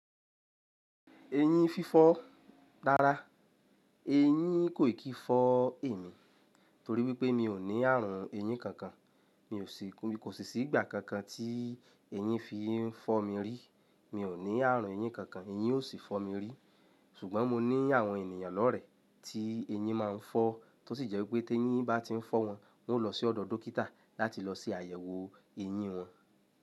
Ẹyin fífọ́ dára. Eyín kò kìí fọ́ èmi torí wípé mi ò ní ààrùn eyín kankan. Mi kò sì sí ìgbà kankan tí eyín fi ń fọ́ mi rí. Mi ò ní ààrùn eyín kankan, eyín ò sì fọ́ mi rí. Ṣùgbọ́n mo ní àwọn ènìyàn lọ́rẹ̀ẹ́ tí eyín máa ń fọ́, tó sì jẹ́ wípé tí eyín bá ti ń fọ́ wọn, wọn ó lọ sí ọ̀dọ̀ dókítà láti lọ ṣe àyẹ̀wò eyín wọn.